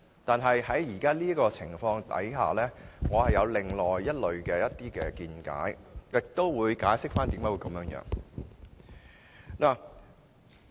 但在現時的情況下，我有另外的見解，以下我也會解釋箇中原因。